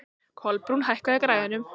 Kolbrún, hækkaðu í græjunum.